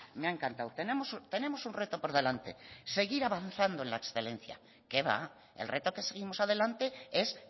me ha encantado tenemos un reto por delante seguir avanzando en la excelencia que va el reto que seguimos adelante es